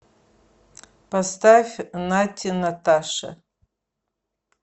поставь натти наташа